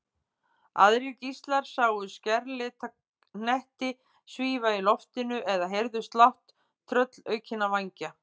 Aðrir gíslar sáu skærlita hnetti svífa í loftinu eða heyrðu slátt tröllaukinna vængja.